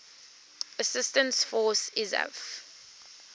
assistance force isaf